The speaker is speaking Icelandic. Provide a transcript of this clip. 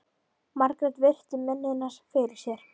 Margrét virti mennina fyrir sér.